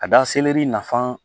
Ka da seleri na